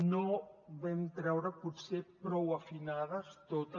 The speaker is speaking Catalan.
no vam treure potser prou afinades totes